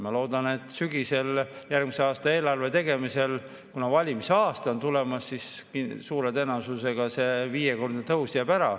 Ma loodan, et sügisel, järgmise aasta eelarve tegemisel, kuna valimiste aasta on tulemas, suure tõenäosusega see viiekordne tõus jääb ära.